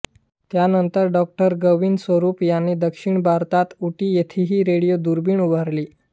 त्यानंतर डॉ गोविंद स्वरूप यांनी दक्षिण भारतात उटी येथेही रेडिओ दुर्बीण उभारली